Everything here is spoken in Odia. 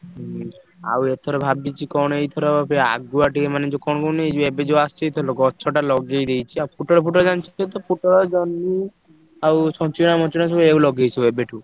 ହୁଁ ଆଉ ଏଥର ଭାବିଛି କଣ ଏଇଥର ବେ ଆଗୁଆ ଟିକେ ମାନେ ଯୋଉ କଣ କୁହନି ଏ ଯୋଉ ଏବେ ଯୋଉ ଆସିଥିଲ ଗଛ ଟା ଲଗେଇଦେଇଛି ଆଉ ପୋଟଳ ଫୋଟଳ ଜାଣିଛ ସେଇତ ପୋଟଳ, ଜହ୍ନି ଆଉ ଛଚିନ୍ଦ୍ରା ମଚିନ୍ଦ୍ରା ସବୁ ଏୟାକୁ ଲଗେଇଛି ସବୁ ଏବେଠୁ।